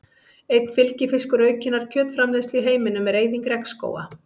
Einn fylgifiskur aukinnar kjötframleiðslu í heiminum er eyðing regnskóga.